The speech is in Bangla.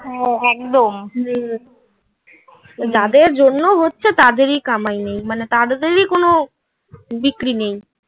হ্যাঁ একদম হুম যাদের জন্য হচ্ছে তাদেরই কামাই নেই. মানে তাদেরই কোন বিক্রি নেই.